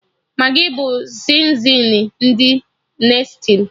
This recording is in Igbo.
Magị bụ sizinin ndị Nestli